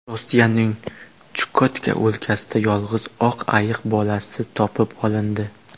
Rossiyaning Chukotka o‘lkasida yolg‘iz oq ayiq bolasi topib olindi.